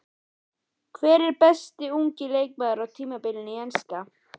Hver er besti ungi leikmaðurinn á tímabilinu í enska?